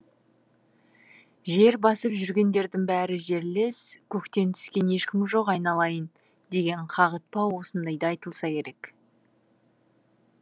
жер басып жүргендердің бәрі жерлес көктен түскен ешкім жоқ айналайын деген қағытпа осындайда айтылса керек